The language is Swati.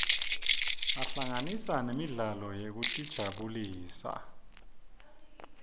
ahlanganisa nemidlalo yekutijabulisa